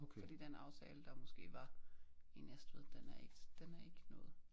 Fordi den aftale der måske var i Næstved den er ikke den er ikke noget